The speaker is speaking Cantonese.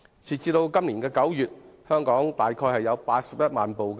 截至今年9月，全港已登記車輛約有81萬部。